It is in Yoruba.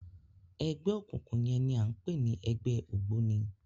Ẹgbẹ okunkun yẹn ni a ń pè ní ẹgbẹ ògbóni